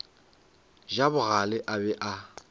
ja bogale a be a